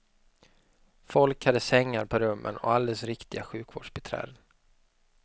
Folk hade sängar på rummen och alldeles riktiga sjukvårdsbiträden.